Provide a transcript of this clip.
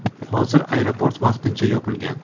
Hozir aeroport vaqtincha yopilgan.